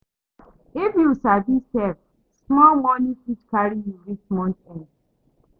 If you sabi save, small money fit carry you reach month end.